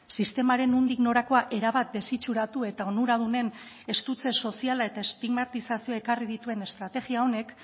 sistemaren nondik norakoa erabat desitxuratu eta onuradunen estutze soziala eta estigmatizazioa ekarri dituen estrategia honek